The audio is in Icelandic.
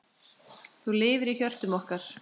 Þú lifir í hjörtum okkar.